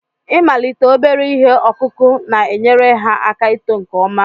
Ịmalite obere ihe ọkụkụ na-enyere ha aka ito nke ọma.